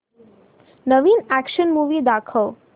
नवीन action movie दाखव